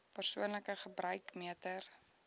persoonlike gebruik meter